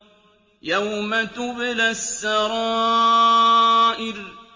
يَوْمَ تُبْلَى السَّرَائِرُ